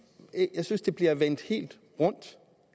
jeg synes det bliver vendt helt rundt